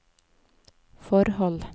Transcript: forhold